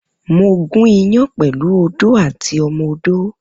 Mo gún ìyán pẹlu òdó àtí ọmọ òdó.